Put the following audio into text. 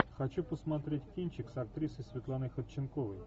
хочу посмотреть кинчик с актрисой светланой ходченковой